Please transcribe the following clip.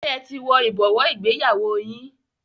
Ṣé ẹ ti wo ibowo ìgbéyàwó yín?